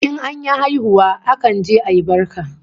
In an yi haihuwa akan je ayi barka